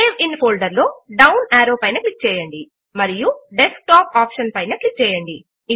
save in folder లో down arrow పైన click చేయండి మరియు డెస్క్టాప్ ఆప్షన్ పైన క్లిక్ చేయండి